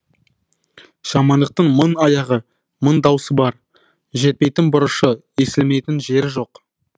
жамандықтың мың аяғы мың даусы бар жетпейтін бұрышы естілмейтін жері жоқ